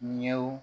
Ɲɛw